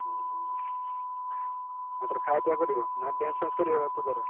ହୁଁ ହୁଁ, ଏଥର ଖାଇଆ ପିଇଆ କରିବ ନା dance ଫ୍ୟାନ୍ସ କରିବ ପୂଜାରେ।